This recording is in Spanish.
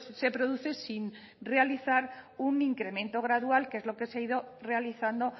se produce sin realizar un incremento gradual que es lo que se ha ido realizando